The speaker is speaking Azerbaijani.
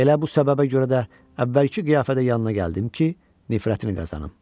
Elə bu səbəbə görə də əvvəlki qiyafədə yanına gəldim ki, nifrətini qazanım.